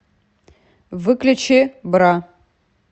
выключи бра